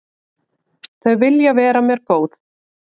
Þau vilja vera mér góð.